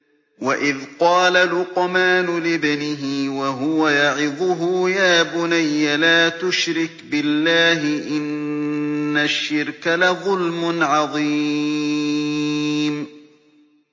وَإِذْ قَالَ لُقْمَانُ لِابْنِهِ وَهُوَ يَعِظُهُ يَا بُنَيَّ لَا تُشْرِكْ بِاللَّهِ ۖ إِنَّ الشِّرْكَ لَظُلْمٌ عَظِيمٌ